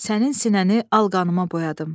Sənin sinəni al qanıma boyadım.